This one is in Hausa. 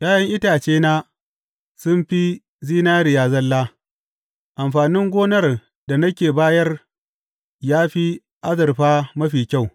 ’Ya’yan itacena sun fi zinariya zalla; amfanin gonar da nake bayar ya fi azurfa mafi kyau.